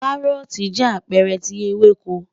Káróòtì jẹ́ apẹ́ẹ̀rẹ̀ tí ewéko